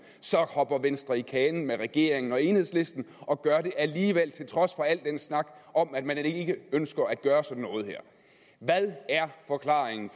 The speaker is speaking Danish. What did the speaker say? så hopper venstre i kanen med regeringen og enhedslisten og gør det alligevel til trods for al den snak om at man da ikke ønsker at gøre sådan noget her hvad er forklaringen